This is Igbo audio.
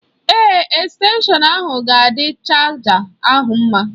Èè, estenshọn ahụ ga-adị chaja ahụ mma.